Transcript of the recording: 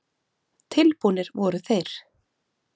Tilbúnir voru þeir.